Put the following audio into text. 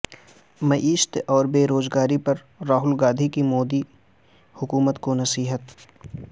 معیشت اور بے روزگاری پر راہل گاندھی کی مودی حکومت کو نصیحت